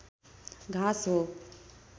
घाँस हो